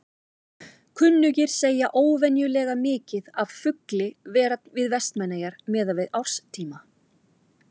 Kunnugir segja óvenjulega mikið af fugli vera við Vestmannaeyjar miðað við árstíma.